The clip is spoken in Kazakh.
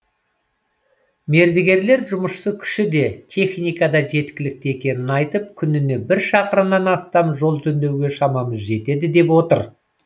мердігерлер жұмысшы күші де техника да жеткілікті екенін айтып күніне бір шақырымнан астам жол жөндеуге шамамыз жетеді деп отыр